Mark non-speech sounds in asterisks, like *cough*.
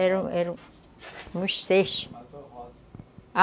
Eram eram uns seis *unintelligible*